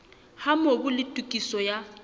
ha mobu le tokiso ya